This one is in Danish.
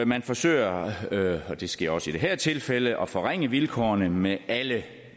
man forsøger og det sker også i det her tilfælde at forringe vilkårene med alle